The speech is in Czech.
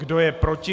Kdo je proti?